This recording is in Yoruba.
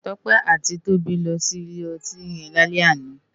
Tope àtí Tobi lò si ilé òtín yèn lálè àná